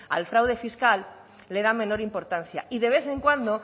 al fraude fiscal le dan menor importancia y de vez en cuando